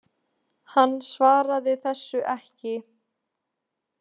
Hann svaraði þessu ekki.